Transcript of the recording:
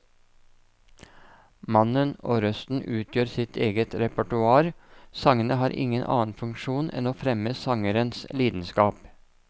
Mannen og røsten utgjør sitt eget repertoar, sangene har ingen annen funksjon enn å fremme sangerens lidenskap.